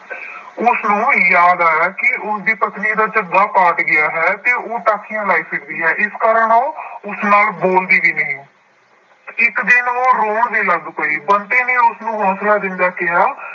ਉਸਨੂੰ ਯਾਦ ਆਇਆ ਕਿ ਉਸਦੀ ਪਤਨੀ ਦਾ ਝੱਗਾ ਪਾਟ ਗਿਆ ਹੈ ਤੇ ਉਹ ਟਾਕੀਆਂ ਲਾਈ ਫਿਰਦੀ ਹੈ, ਇਸ ਕਾਰਨ ਉਹ ਉਸ ਨਾਲ ਬੋਲਦੀ ਵੀ ਨਹੀਂ ਹੈ, ਇੱਕ ਦਿਨ ਉਹ ਰੋਣ ਵੀ ਲੱਗ ਪਈ ਬੰਤੇ ਨੇ ਉਸਨੂੰ ਹੌਂਸਲਾ ਦਿੰਦਾ ਕਿਹਾ।